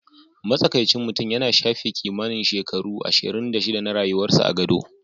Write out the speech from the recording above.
Matsakaicin mutum yana shafe kimanin shekaru ashirin da shida na rayuwarsa a gado.